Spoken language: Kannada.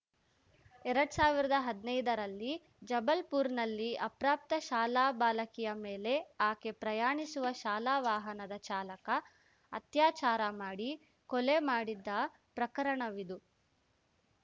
ಎರಡ್ ಸಾವಿರ್ದಾ ಹದ್ನೈದ ರಲ್ಲಿ ಜಬಲ್‌ಪುರ್‌ನಲ್ಲಿ ಅಪ್ರಾಪ್ತ ಶಾಲಾ ಬಾಲಕಿಯ ಮೇಲೆ ಆಕೆ ಪ್ರಯಾಣಿಸುವ ಶಾಲಾ ವಾಹನದ ಚಾಲಕ ಅತ್ಯಾಚಾರ ಮಾಡಿ ಕೊಲೆ ಮಾಡಿದ್ದ ಪ್ರಕರಣವಿದು